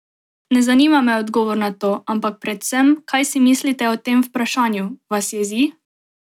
Ne zanima me odgovor na to, ampak predvsem, kaj si mislite o tem vprašanju, vas jezi?